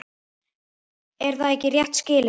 Er það ekki rétt skilið?